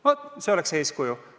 Vaat, see oleks eeskuju.